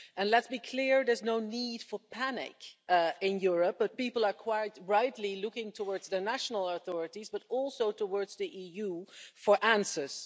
And let's be clear, there's no need for panic in Europe, but people are quite rightly looking towards their national authorities but also towards the EU for answers.